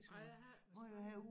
Ej jeg har ikke været spejder